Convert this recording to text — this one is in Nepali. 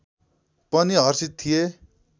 पनि हर्षित थिए